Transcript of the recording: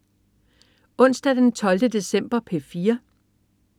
Onsdag den 12. december - P4: